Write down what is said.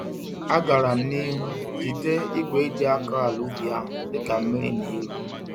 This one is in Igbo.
Agaram n'ihu jide igwe eji-akọ-àlà-ubi ahụ dịka mmírí n'eru